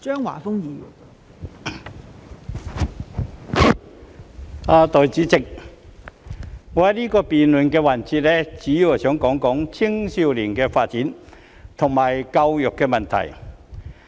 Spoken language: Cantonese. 代理主席，在這個辯論環節，我會主要談及青少年的發展及教育問題。